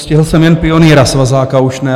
Stihl jsem jen pionýra, svazáka už ne.